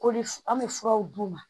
Koli f an bɛ furaw d'u ma